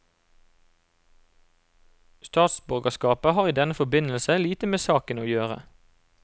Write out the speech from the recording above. Statsborgerskapet har i denne forbindelse lite med saken å gjøre.